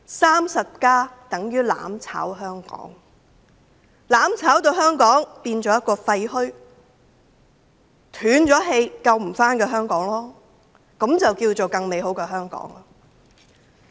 "35+" 等於"攬炒"香港，令香港變為廢墟，成為一個斷了氣、無法救回的香港，這便叫做更美好的香港。